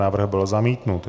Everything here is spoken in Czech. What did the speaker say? Návrh byl zamítnut.